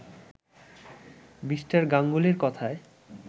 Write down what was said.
Me. গাঙ্গুলির কথায়